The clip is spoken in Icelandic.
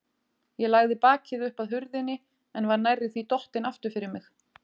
Ég lagði bakið upp að hurðinni en var nærri því dottin aftur fyrir mig.